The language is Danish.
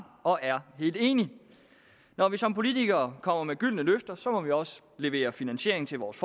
og er helt enig når vi som politikere kommer med gyldne løfter må vi også levere finansiering til vores